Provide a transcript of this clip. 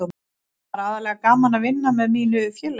Það var aðallega gaman að vinna með mínu félagi.